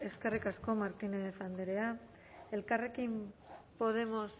eskerrik asko martínez andrea elkarrekin podemos